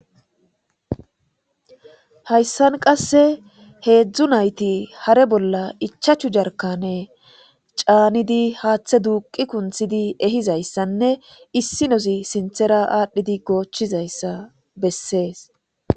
Hayssan qasse heedzdzu nayti hare bolla ichachu jarkane caanidi haaththe duuqi kunthidi ehizayssanne issi nosi sinthera aadhdhidi goochizayssa bessees